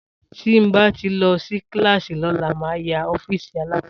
Tí bà tí lò sí kílìlàsí lólà mà yà ọfísì àlákòsó.